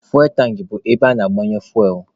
Fuwel tankị bụ ebe ana-agbanye fuwel.